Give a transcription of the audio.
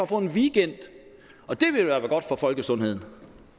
få en weekend og det ville være godt for folkesundheden